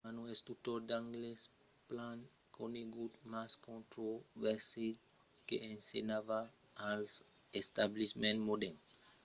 karno es un tutor d'anglés plan conegut mas controversat que ensenhava als establiments modern education e king's glory que pretendèt aver agut 9 000 estudiants a l'apogèu de sa carrièra